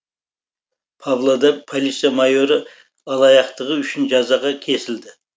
павлодар полиция майоры алаяқтығы үшін жазаға кесілді